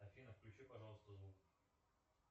афина включи пожалуйста звук